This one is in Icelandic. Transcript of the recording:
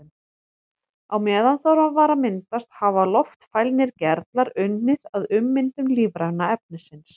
Á meðan það var að myndast hafa loftfælnir gerlar unnið að ummyndun lífræna efnisins.